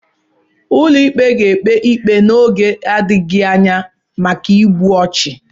Ụlọikpe ga-ekpe ikpe n'oge na-adịghị anya maka igbu ọchụ